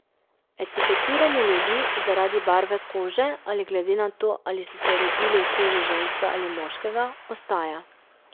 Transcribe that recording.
Etiketiranje ljudi zaradi barve kože ali glede na to, ali so se rodili v koži ženske ali moškega, ostaja.